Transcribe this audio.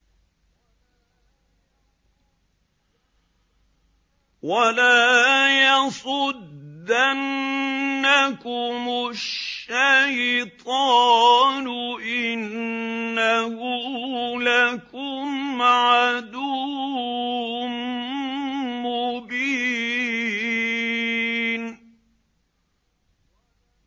وَلَا يَصُدَّنَّكُمُ الشَّيْطَانُ ۖ إِنَّهُ لَكُمْ عَدُوٌّ مُّبِينٌ